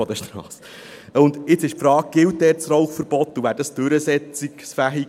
Gilt das Rauchverbot dort, und wäre es im Rekursfall durchsetzungsfähig?